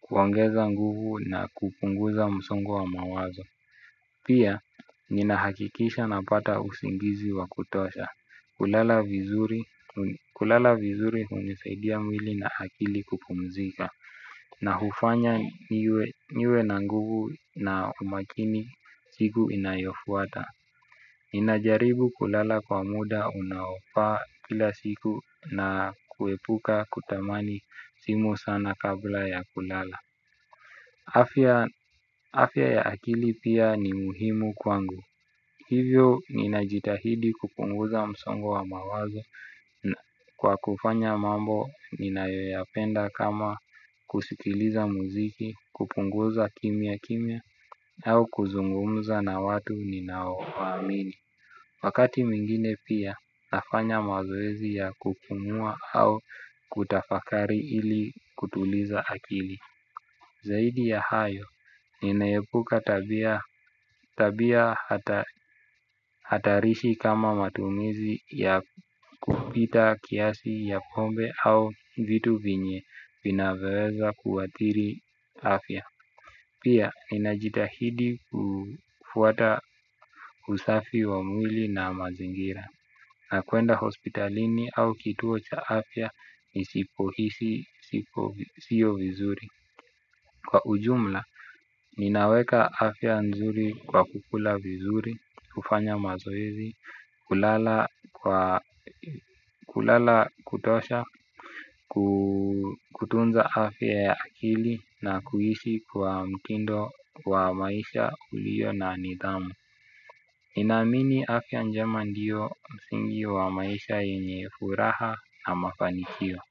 Kuongeza nguvu na kupunguza msongo wa mawazo. Pia, ninahakikisha napata usingizi wa kutosha. Kulala vizuri hunisaidia mwili na akili kupumzika na hufanya niwe na nguvu na umakini siku inayofuata. Ninajaribu kulala kwa muda unaofaa kila siku na kuepuka kutamani simu sana kabla ya kulala. Afya ya akili pia ni muhimu kwangu. Hivyo ninajitahidi kupunguza msongo wa mawazo kwa kufanya mambo ninayoyapenda kama kusikiliza muziki, kupunguza kimya kimya au kuzungumuza na watu ninaoamini. Wakati mwingine pia nafanya mazoezi ya kupumua au kutafakari ili kutuliza akili. Zaidi ya hayo, ninaepuka tabia hatarishi kama matumizi ya kupita kiasi ya pombe au vitu vyenye vinavyoweza kuathiri afya. Pia, ninajitahidi kufuata usafi wa mwili na mazingira na kuenda hospitalini au kituo cha afya nisipohisi sio vizuri. Kwa ujumla, ninaweka afya nzuri kwa kukula vizuri, kufanya mazoezi, kulala kutosha, kutunza afya ya akili na kuishi kwa mtindo wa maisha ulio na nidhamu ninaamini afya njema ndiyo msingi wa maisha yenye furaha na mafanikio.